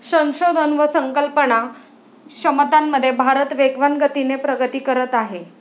संशोधन व संकल्पना क्षमतांमध्ये भारत वेगवान गतीने प्रगती करत आहे.